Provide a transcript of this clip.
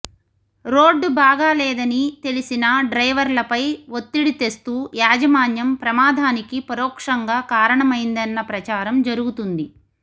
road బాగా లేదని తెలిసినా డ్రైవర్లపై ఒత్తిడి తెస్తూ యాజమాన్యం ప్రమాదానికి పరోక్షంగా కారణమైందన్న ప్రచారం జరుగుతుంది